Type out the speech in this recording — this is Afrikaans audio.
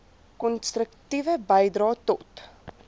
konstruktiewe bydrae tot